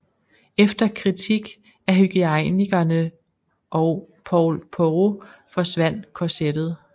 Efter kritik af hygiejnikerne og Paul Poiret forsvandt korsettet